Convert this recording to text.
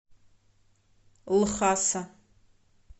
лхаса